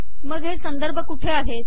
मग हे संदर्भ कुठे आहेत